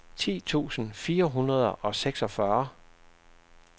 ti tusind fire hundrede og seksogfyrre